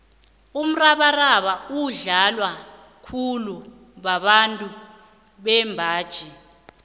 umrabaraba udlalwa khulu babantu bembaji